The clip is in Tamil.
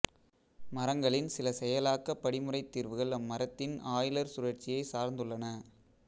மரங்களின் சில செயலாக்கப் படிமுறைத் தீர்வுகள் அம்மரத்தின் ஆய்லர் சுழற்சியை சார்ந்துள்ளன